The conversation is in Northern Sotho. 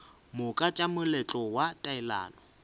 moka tša moletlo wa taelano